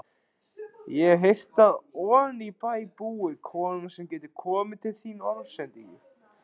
Ég hef heyrt að oní bæ búi kona sem getur komið til þín orðsendingu.